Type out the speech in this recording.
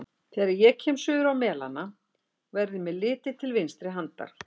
Þegar ég kem suður á Melana, verður mér litið til vinstri handar.